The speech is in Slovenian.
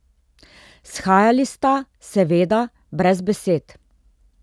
Shajali sta, seveda, brez besed.